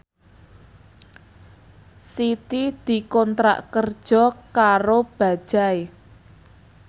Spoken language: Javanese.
Siti dikontrak kerja karo Bajaj